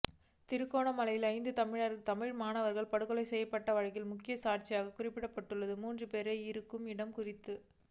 திருகோணமலையில் ஐந்து தமிழ் மாணவர்கள் படுகொலை செய்யப்பட்ட வழக்கில் முக்கிய சாட்சிகளாக குறிப்பிடப்பட்டுள்ள மூன்று பேர் இருக்கும் இடம் குறித்து